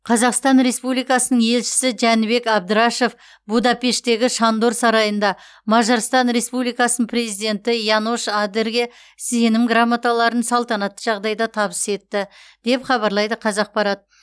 қазақстан республикасының елшісі жәнібек әбдрашов будапештегі шандор сарайында мажарстан республикасының президенті янош адерге сенім грамоталарын салтанатты жағдайда табыс етті деп хабарлайды қазақпарат